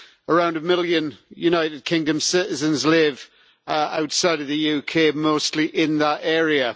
Around a million United Kingdom citizens live outside of the UK, mostly in that area.